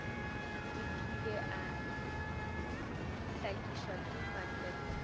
dikile a hlakišwa ke matriki